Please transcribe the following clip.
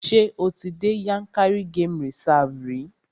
Ṣé o ti dé Yànkárí game reserve rí?